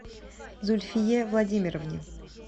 зульфие владимировне